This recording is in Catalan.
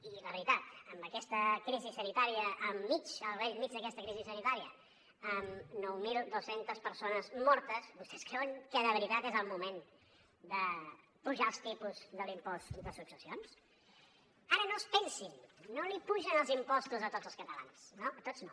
i la veritat amb aquesta crisi sanitària al mig al bell mig d’aquesta crisi sanitària amb nou mil dos cents persones mortes vostès creuen que de veritat és el moment d’apujar els tipus de l’impost de successions ara no es pensin no apugen els impostos a tots els catalans no a tots no